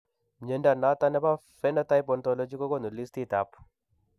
Mnyondo noton nebo Phenotype Ontology kogonu listiit ab